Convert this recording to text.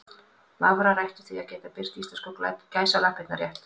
Vafrar ættu því að geta birt íslensku gæsalappirnar rétt.